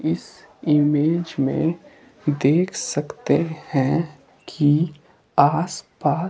इस इमेज में देख सकते हैं कि आसपास--